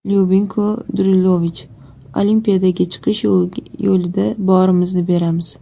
Lyubinko Drulovich: Olimpiadaga chiqish yo‘lida borimizni beramiz.